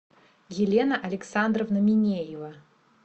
елена александровна минеева